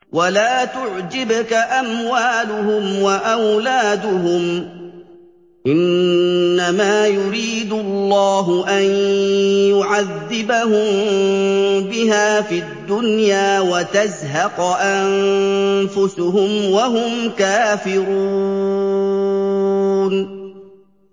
وَلَا تُعْجِبْكَ أَمْوَالُهُمْ وَأَوْلَادُهُمْ ۚ إِنَّمَا يُرِيدُ اللَّهُ أَن يُعَذِّبَهُم بِهَا فِي الدُّنْيَا وَتَزْهَقَ أَنفُسُهُمْ وَهُمْ كَافِرُونَ